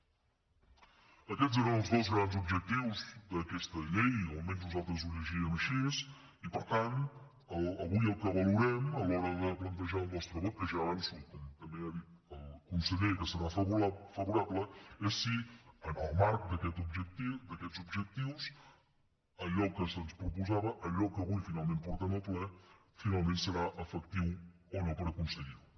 aquests eren els dos grans objectius d’aquesta llei o almenys nosaltres ho llegíem així i per tant avui el que valorem a l’hora de plantejar el nostre vot que ja avanço com també ha dit el conseller que hi serà favorable és si en el marc d’aquests objectius allò que se’ns proposava allò que avui finalment portem al ple finalment serà efectiu o no per aconseguirho